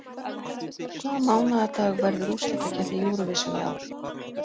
Hvaða mánaðardag verður úrslitakeppni Eurovision í ár?